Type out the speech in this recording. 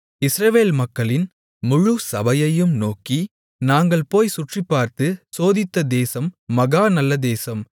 இஸ்ரவேல் மக்களின் முழு சபையையும் நோக்கி நாங்கள் போய்ச் சுற்றிப்பார்த்து சோதித்த தேசம் மகா நல்ல தேசம்